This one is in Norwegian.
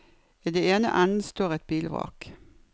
I den ene enden står et bilvrak.